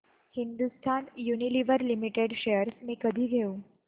Hindustan Unilever limited shares मी कधी घेऊ